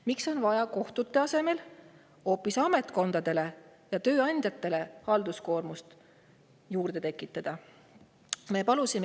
Miks on vaja kohtute asemel tekitada ametkondadele ja tööandjatele halduskoormust juurde?